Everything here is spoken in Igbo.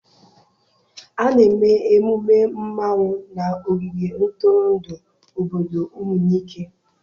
A na-eme emume mmanwụ na ogige ntụrụndụ obodo Umunike.